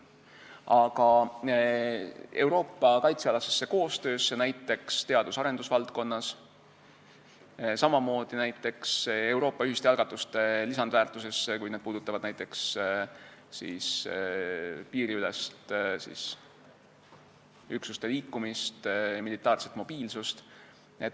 Aga ma usun Euroopa kaitsealasesse koostöösse näiteks teadus- ja arendusvaldkonnas, samamoodi näiteks Euroopa ühiste algatuste lisandväärtusesse, kui need puudutavad piiriülest üksuste liikumist, militaarset mobiilsust.